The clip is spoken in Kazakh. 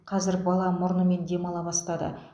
қазір бала мұрнымен демала бастады